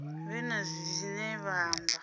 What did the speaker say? vhe na zwine vha amba